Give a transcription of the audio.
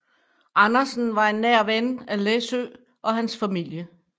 Andersen var en nær ven af Læssøe og hans familie